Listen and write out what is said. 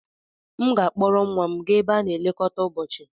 M ga-akpọrọ nwa m gaa ebe a na-elekọta ụbọchị.